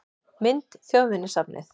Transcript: Mynd: Þjóðminjasafnið